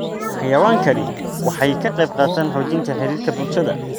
Xayawaankani waxay ka qaybqaataan xoojinta xiriirka bulshada.